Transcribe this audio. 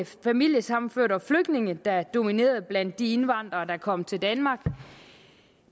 familiesammenførte og flygtningene der dominerede blandt de indvandrere der kom til danmark